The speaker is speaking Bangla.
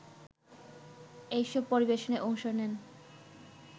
এসব পরিবেশনায় অংশ নেন